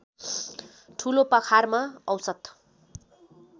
ठुलोपाखारमा औसत